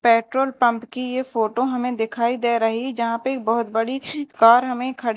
petrol pump की ये photo हमें दिखाई दे रही जहां पे एक बहोत बड़ी कार हमें खड़ी--